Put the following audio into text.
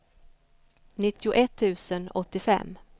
nittioett tusen åttiofem